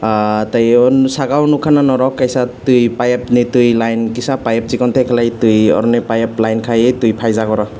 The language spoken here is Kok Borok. teiwong saka o no nogka na norok kaisa tui paiyep ni tui line kisa paiyep sikon teisa kelai tui oroni payep line kai ye tui paijak oro.